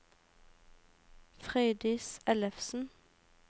Frøydis Ellefsen